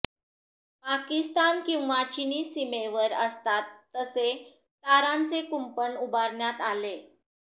पाकिस्तान किंवा चिनी सीमेवर असतात तसे तारांचे कुंपण उभारण्यात आले